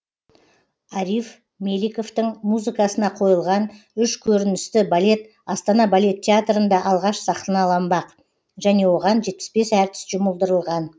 ариф меликовтің музыкасына қойылған үш көріністі балет астана балет театрында алғаш сахналанбақ және оған жетпіс бес әртіс жұмылдырылған